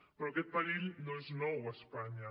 però aquest perill no és nou a espanya